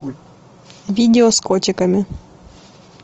видео с котиками